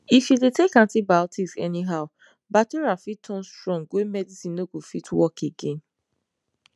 if you dey take antibiotics anyhow bacteria fit turn strong wey medicine no go fit work again